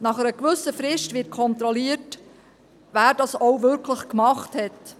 Nach einer gewissen Frist wird kontrolliert, wer das auch wirklich gemacht hat.